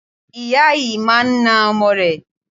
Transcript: Ìyá yìí máa na ọmọ rẹ̀.